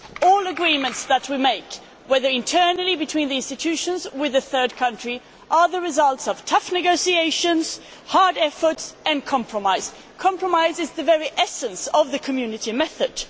All agreements that we make, whether internally between the institutions or with a third country, are the result of tough negotiations, hard efforts and compromise. Compromise is the very essence of the Community method.